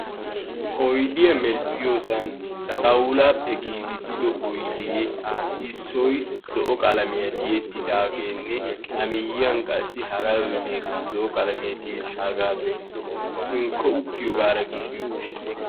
Oyidiya medhdhiyosan xawulaappe giigissido oyidee issoy zo'o qalamiya tiyettidaageenne a miyiyan qassi hara oyideekka zo'o qalamiyan tiyettaagaadoy hinkko uttiyogaara giigi uttis.